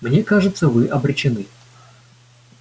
мне кажется вы обречены